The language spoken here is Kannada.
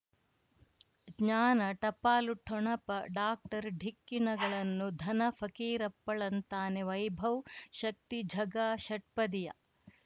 ಜ್ಞಾನ ಟಪಾಲು ಠೊಣಪ ಡಾಕ್ಟರ್ ಢಿಕ್ಕಿ ಣಗಳನು ಧನ ಫಕೀರಪ್ಪ ಳಂತಾನೆ ವೈಭವ್ ಶಕ್ತಿ ಝಗಾ ಷಟ್ಪದಿಯ